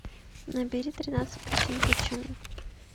набери тринадцать причин почему